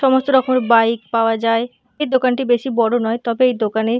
সমস্ত রকমের বাইক পাওয়া যায়। এই দোকানটি বেশি বড় নয় তবে এই দোকানে।